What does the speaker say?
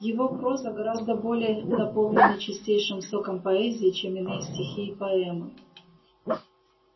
его проза гораздо более наполнена чистейшим соком поэзии чем иные стихи и поэмы